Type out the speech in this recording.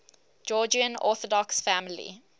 georgian orthodox family